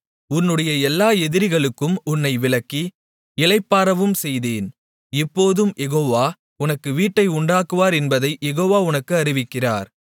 உன்னுடைய எல்லா எதிரிகளுக்கும் உன்னை விலக்கி இளைப்பாறவும் செய்தேன் இப்போதும் யெகோவா உனக்கு வீட்டை உண்டாக்குவார் என்பதைக் யெகோவா உனக்கு அறிவிக்கிறார்